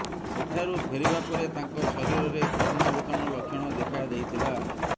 ସେଠାରୁ ଫେରିବା ପରେ ତାଙ୍କ ଶରୀରରେ କରୋନା ଭୂତାଣୁ ଲକ୍ଷଣ ଦେଖାଦେଇଥିଲା